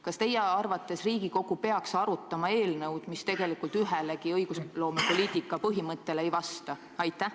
Kas teie arvates Riigikogu peaks arutama eelnõu, mis tegelikult ühelegi õigusloome põhimõttele ei vasta?